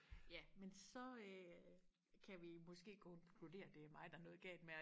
ja men så øh kan vi måske konkludere at det er mig der er noget galt med